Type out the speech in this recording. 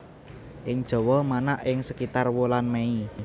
Ing Jawa manak ing sekitar wulan Mei